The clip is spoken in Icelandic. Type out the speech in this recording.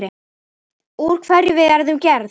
Úr hverju við erum gerð.